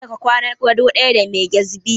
Kada ka kwana gado ɗaya da mai kyazbi!